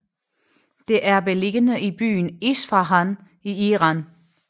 Det er beliggende i byen Isfahan i Iran